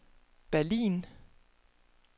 Berlin